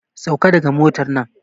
Sauka daga motar nan!